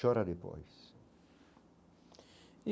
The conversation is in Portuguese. Chora depois e.